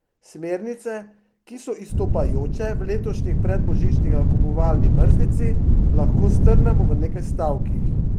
Smernice, ki so izstopajoče v letošnji predbožični nakupovalni mrzlici, lahko strnemo v nekaj stavkih.